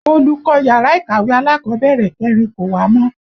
Olùkọ́ yàrá ìkàwé alákọ̀bẹ̀rẹ̀ kẹrin kò wá mọ́